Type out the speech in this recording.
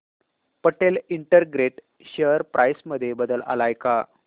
Patel integrate share price मध्ये बदल आलाय का